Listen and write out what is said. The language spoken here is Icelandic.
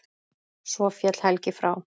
Svo féll Helgi frá.